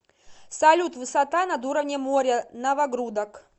салют высота над уровнем моря новогрудок